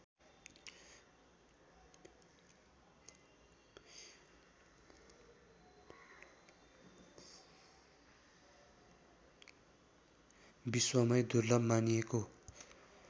विश्वमै दुर्लभ मानिएको